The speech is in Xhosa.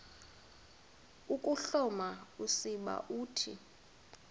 ukuhloma usiba uthi